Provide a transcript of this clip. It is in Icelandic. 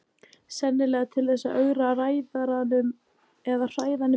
Sennilega til þess að ögra ræðaranum eða hræða hann í burtu.